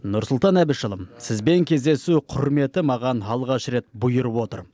нұрсұлтан әбішұлы сізбен кездесу құрметі маған алғаш рет бұйырып отыр